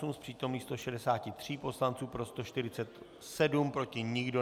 Z přítomných 163 poslanců pro 147, proti nikdo.